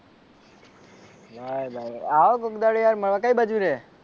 ભાઈ ભાઈ આવો કોઈક દાડો યાર મળવા કઈ બાજુ રહે?